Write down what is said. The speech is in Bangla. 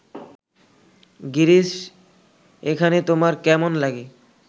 গিরিশ এখানে তোমার কেমন লাগে